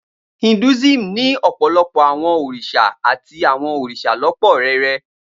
Hinduism ní ọ̀pọ̀lọpọ̀ àwọn òrìṣà àti àwọn òrìṣà lọ́pọ́ rẹrẹ.